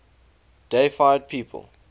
deified people